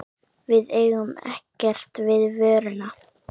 Við eigum ekkert við vöruna.